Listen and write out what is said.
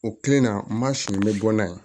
O kelen na n b'a siri n bɛ bɔ n'a ye